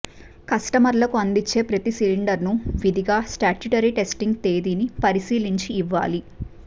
కస్టమర్లకు అందించే ప్రతీ సిలిండర్ ను విధిగా స్టాట్యూటరీ టెస్టింగ్ తేదీని పరిశీలించి ఇవ్వాలి